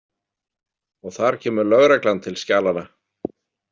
Og þar kemur lögreglan til skjalanna.